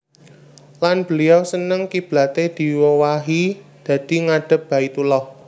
Lan beliau seneng kiblaté diowahi dadi ngadhep Baitullah